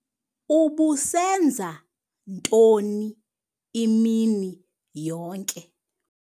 Ubusenza ntoni imini yonke?